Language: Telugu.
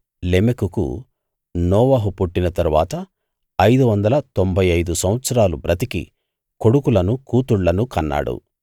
లెమెకుకు నోవహు పుట్టిన తరువాత ఐదు వందల తొంభై ఐదు సంవత్సరాలు బ్రతికి కొడుకులను కూతుళ్ళను కన్నాడు